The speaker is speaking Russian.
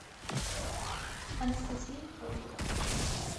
анастасия кей